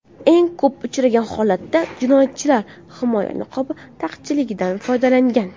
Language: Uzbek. Eng ko‘p uchragan holatda jinoyatchilar himoya niqobi taqchilligidan foydalangan.